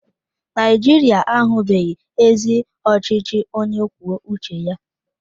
Naijiria ahụbeghị ezi ọchịchị onye kwuo uche ya.